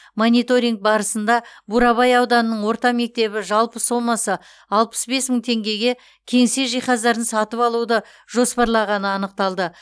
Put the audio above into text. мониторинг барысында бурабай ауданының орта мектебі жалпы сомасы алпыс бес мың теңгеге кеңсе жиһаздарын сатып алуды жоспарлағаны анықталды